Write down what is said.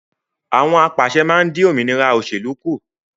Àwọn apàṣẹ máa dín òmìnira òsèlú kù